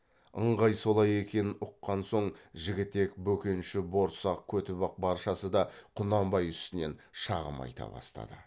ыңғай солай екенін ұққан соң жігітек бөкенші борсақ көтібақ баршасы да құнанбай үстінен шағым айта бастады